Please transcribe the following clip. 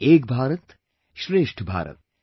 Ek Bharat, Shreshth Bharat